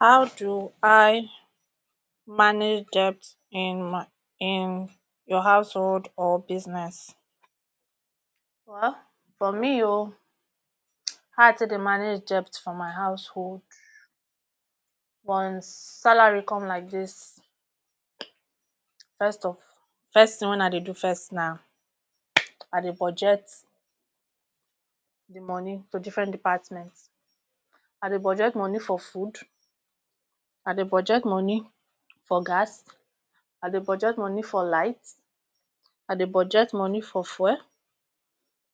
How do I manage debt in my in your household or business? Well for me o, how I take dey manage debt for my household once salary come like dis first of, first tin wen I dey do na I dey budget di moni to different department, I dey budget moni for food, I dey budget moni for gas, I dey budget moni for light, I dey budget moni for fuel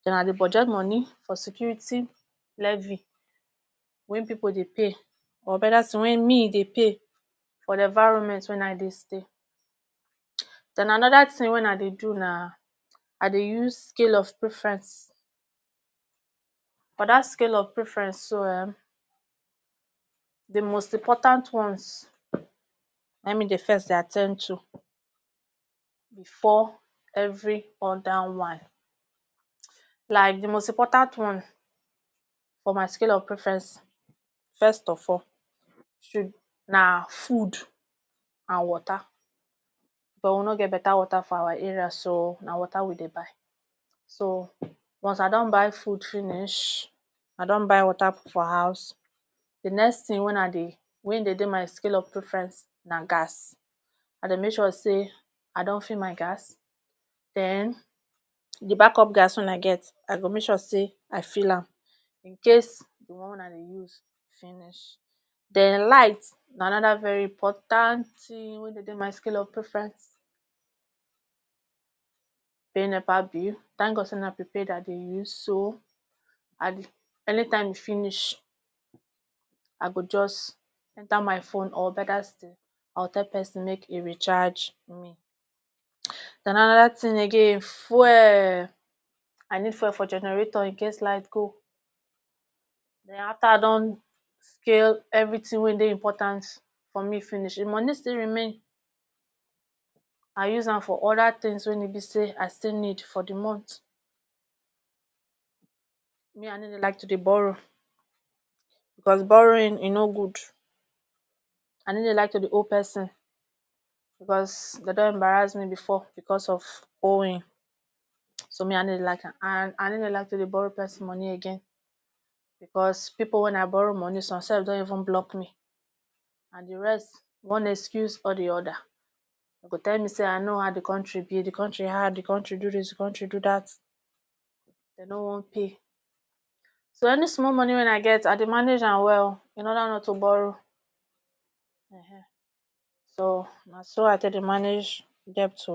den I dey budget moni for security levy wey pipu dey pay or beta still wey me dey pay for di environment wia I dey stay. Den anoda tin wey I dey do na I dey use scale of preferenc. For dat scale of preference so um di most important ones na him me dey first dey at ten d to before every oda one, like di most important one for my scale of preference first of all na food and water because we no get beta water for our area na water we dey buy so once I don buy food finish, I don buy water put for house, di next tin wen I dey wey dey dey for scale of preference na gas, I dey make sure say I don fill my gas den di backup gas wey I get I go make sure say I fill am incase di one wey I dey use finish. Den light na anoda very important tin wey dey dey my scale of preference, pay nepa bill tank God say na prepaid I dey use so um anytime e finish I go just enter my phone or beta still I go tell pesin make e recharge me. Den anoda tin again fuel, I need fuel for generator incase light go, den after I don scale everything wey dey important for me finish, if money still remain I use am for oda tins wey e be say I still need for di month me I no dey like to dey borrow, because borrowing e no good, I no dey like to dey owe pesin because dem don embarrass me before because of owing so me I no dey like am and I no dey like to dey borrow pesin moni again because pipu wey I borrow moni some self don even block me and di rest one excuse or di oda, dem go tell me say I know how di country be, di country hard, di country do dis, di country do dat, dem no wan pay so any small moni wein I get I dey manage am well in order not to borrow so na so I take dey manage debt o.